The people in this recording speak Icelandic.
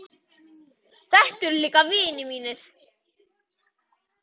Þetta eru líka vinir mínir.